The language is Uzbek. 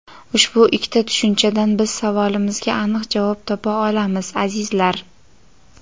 Ushbu ikkita tushunchadan biz savolimizga aniq javob topa olamiz, azizlar.